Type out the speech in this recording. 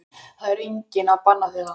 Það er enginn að banna þér það.